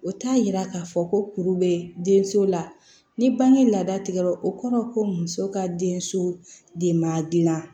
O t'a yira k'a fɔ ko kuru bɛ denso la ni bange laada tigɛra o kɔrɔ ko muso ka denso de ma dilan